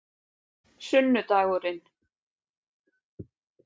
sunnudagurinn